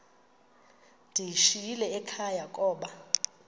ndiyishiyile ekhaya koba